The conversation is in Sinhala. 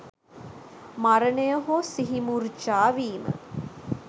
මරණය හෝ සිහිමුර්ජා වීම